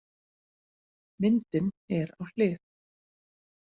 Myndin er á hlið.